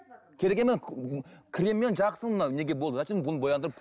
керек креммен жақсы мына неге болды зачем бұны бояндырып